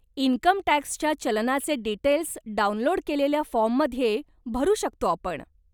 इन्कमटॅक्सच्या चलनाचे details download केलेल्या फोर्ममध्ये भरू शकतो आपण.